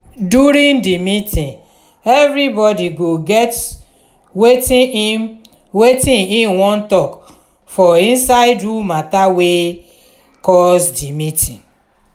during di meeting everybody go get wetin im wetin im wan talk for inside do matter wey cause di meeting